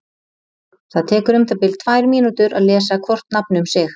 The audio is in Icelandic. Það tekur um það bil tvær mínútur að lesa hvort nafn um sig.